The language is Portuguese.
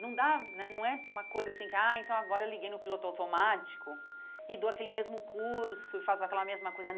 Não dá né não é uma coisa assim que ah agora liguei no piloto automático e dou aquele mesmo curso e faço aquela mesma coisa.